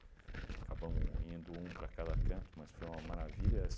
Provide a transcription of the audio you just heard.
Acabamos indo um para cada canto, mas foi uma maravilha.